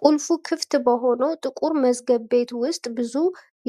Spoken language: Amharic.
ቁልፉ ክፍት በሆነው ጥቁር መዝገብ ቤት ውስጥ፣ ብዙ